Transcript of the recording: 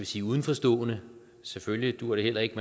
sige udenforstående selvfølgelig duer det heller ikke